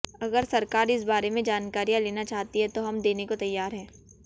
अगर सरकार इस बारे में जानकारियां लेना चाहती है तो हम देने को तैयार हैं